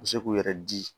U bɛ se k'u yɛrɛ di